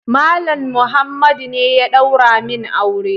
Malam Muhammadu ne ya daura min aure.